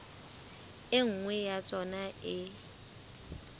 e nngwe ya tsona e